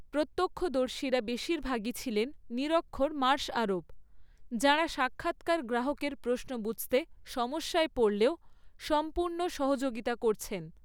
প্রত্যক্ষদর্শীরা বেশিরভাগই ছিলেন নিরক্ষর মার্শ আরব, যাঁরা সাক্ষাৎকার গ্রাহকের প্রশ্ন বুঝতে সমস্যায় পড়লেও সম্পূর্ণ সহযোগিতা করছেন।